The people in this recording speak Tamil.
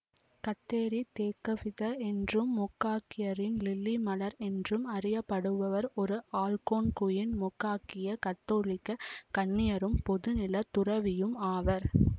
கத்தேரி தேக்கக்வித என்றும் மோகாக்கியரின் லில்லி மலர் என்றும் அறியப்படுபவர் ஒரு அல்கோன்குயின்மோகாக்கிய கத்தோலிக்க கன்னியரும் பொது நிலைத்துறவியும் ஆவார்